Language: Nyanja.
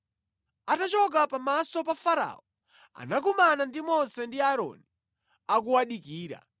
Atachoka pamaso pa Farao, anakumana ndi Mose ndi Aaroni akuwadikira,